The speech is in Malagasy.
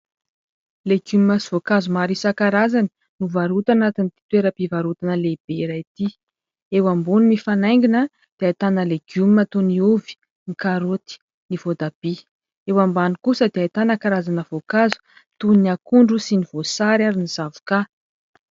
Legioma sy voankazo maro isankarazany no varotana ato amin'ity toeram-pivarotana lehibe iray ity, eo ambony mifanaingina dia ahitana legioma toy ny ovy, ny karoty ny voatabia, eo ambany kosa dia ahitana karazana voankazo toy ny akondro sy ny voasary ary ny zavoka.